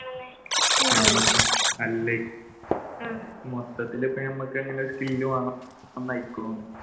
അല്ലെ മൊത്തത്തിൽ